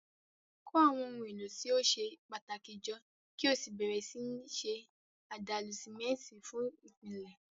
Kó àwọn ohun èlò tí ó ṣe pàtàkì jọ kí o sì bẹ̀rẹ̀ sí ní ṣe àdàlù símẹ́ńtì fún ìpìlẹ̀.